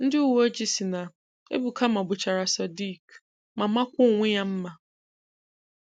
Ndị uwe ojii sị na, “Ebuka mmàgbùchàrà Sodiq ma mākwaa onwe ya mma.”